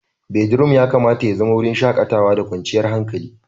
Bedroom ya kamata ya zama wurin shakatawa da kwanciyar hankali.